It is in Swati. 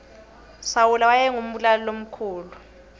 sawule wayengu mbulali makhulwa